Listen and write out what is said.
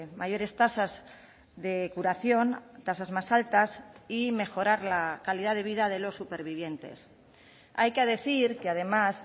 mayores tasas de curación tasas más altas y mejorar la calidad de vida de los supervivientes hay que decir que además